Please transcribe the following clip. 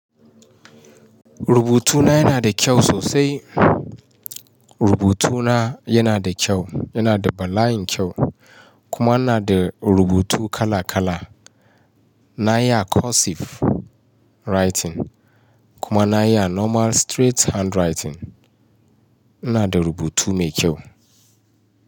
Rubutuna yana da kyau sosai. Rubutuna yana da kyau, yana da bala'in kyau, kuma yana da rubutu kala kala. Na iya cursive writing kuma na yi normal straight handwriting. Ina da rubutu mai kyau.